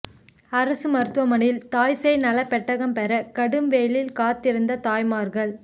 அரசு மருத்துவமனையில் தாய் சேய் நல பெட்டகம் பெற கடும் வெயிலில் காத்திருந்த தாய்மார்கள்